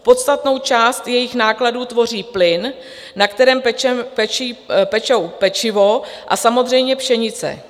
Podstatnou část jejich nákladů tvoří plyn, na kterém pečou pečivo, a samozřejmě pšenice.